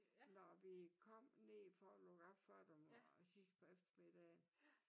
Når vi kom ned for at luk op for dem og sidst på eftermiddagen